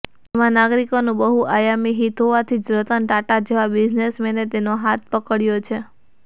એમાં નાગરિકોનું બહુઆયામી હિત હોવાથી જ રતન ટાટા જેવા બિઝનેસમેને તેનો હાથ પકડયો છે